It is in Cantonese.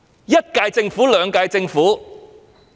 一連兩屆政府......